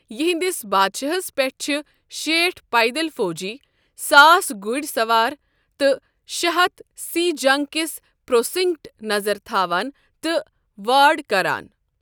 یِہنٛدِس بادشاہس پٮ۪ٹھ چھِ شیٹھ پیدل فوجی، ساس گُڑۍ سوار، تہٕ شےٚ ہتھ سۍ'جنگ کِس پروسنکٹ' نظر تھاوان تہٕ وارڑ کران۔